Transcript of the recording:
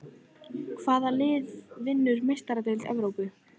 Hvað lið vinnur Meistaradeild Evrópu?